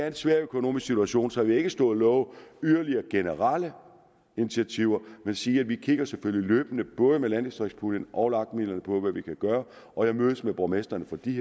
en svær økonomisk situation så jeg vil ikke stå og love yderligere generelle initiativer men sige at vi selvfølgelig kigger løbende på landdistriktspuljen og lag midlerne for at vi kan gøre og jeg mødes med borgmestrene for de